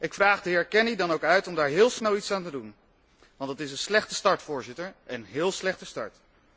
Ik vraag de heer Kenny dan ook om daar heel snel iets aan te doen, want dit is een slechte start, Voorzitter, een heel slechte start.